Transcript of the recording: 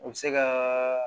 O bɛ se ka